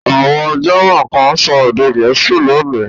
Àwọn German kan ń sọ èdè Gẹ̀ẹ́sì lónìí.